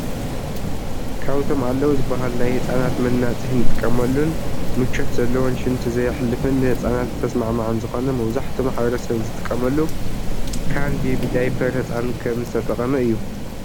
ካብቶም ኣለዉ ዝበሃሉ ናይ ህፃናት መናፅሂ ንጥቀመሉን ምቸት ዘለዎን ሽንቲ ዘየሕልፍን ንህፃናት ተስማዕማዕን ዝኾነ መብዛሕትኡ ማሕበረሰብ ዝጥቀመሉ ካን ቤቢ ዳይፐር ህጻን ከም ዝተጠቀመ እዩ።